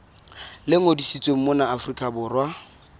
le ngodisitsweng mona afrika borwa